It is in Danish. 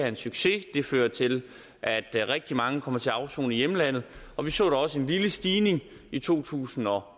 en succes det fører til at rigtig mange kommer til at afsone i hjemlandet og vi så da også en lille stigning i to tusind og